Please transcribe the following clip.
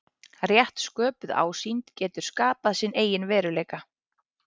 Rétt sköpuð ásýnd getur skapað sinn eigin veruleika.